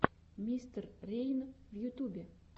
мистер рейн в ютубе